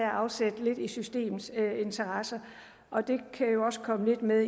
afsæt i systemets interesser og det kan jo også komme lidt med